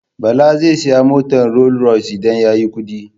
Bala zai saya motar Rolls-Royce idan ya yi kuɗi.